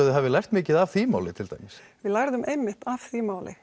þið hafið lært mikið af því máli til dæmis við lærðum einmitt af því máli